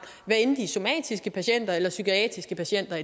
hvad enten somatiske patienter eller psykiatriske patienter